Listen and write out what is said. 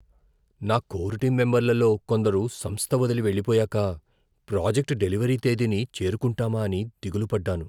నా core team మెంబర్లలో కొందరు సంస్థ వదిలి వెళ్ళిపోయాక ప్రాజెక్ట్ డెలివరీ తేదీని చేరుకుంటామా అని దిగులు పడ్డాను.